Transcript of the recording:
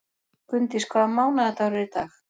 Gunndís, hvaða mánaðardagur er í dag?